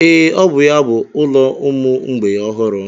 Ee, ọ bụ ya bụ ụlọ ụmụ mgbei ọhụrụ.